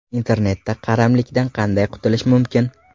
Internetga qaramlikdan qanday qutulish mumkin?.